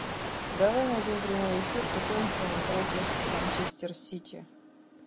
давай найдем прямой эфир тоттенхэм против манчестер сити